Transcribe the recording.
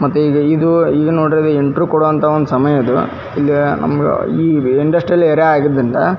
ಮತ್ತೆ ಇದು ನೋಡಿ ಇಂಟೆರ್ವು ಕೊಡುವಂತಹ ಸಮಯ ಇದು ಇಲ್ಲಿ ನಮಗೆ ಇಂಡಸ್ಟ್ರಿಯಲ್ ಏರಿಯಾ ಆದ್ದರಿಂದ --